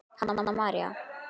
Halla María.